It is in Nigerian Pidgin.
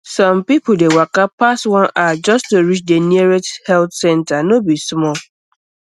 some um people dey waka pass one hour just to reach the nearest health um center no no be small